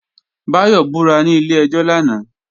Báyọ̀ búra ní ilé-ẹjọ́ lánàá